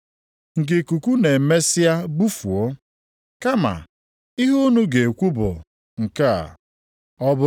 Ya mere, mmadụ ọbụla maara ihe bụ ezi ihe ma jụ ime ya na-emehie.